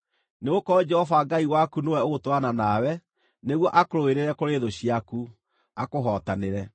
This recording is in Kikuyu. Nĩgũkorwo Jehova Ngai waku nĩwe ũgũtwarana nawe nĩguo akũrũĩrĩre kũrĩ thũ ciaku, akũhootanĩre.”